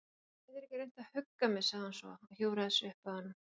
Geturðu ekki reynt að hugga mig- sagði hún svo og hjúfraði sig upp að honum.